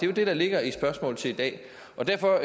jo det der ligger i spørgsmålet i dag og derfor